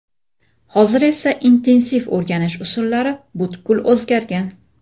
Hozir esa intensiv o‘rganish usullari butkul o‘zgargan.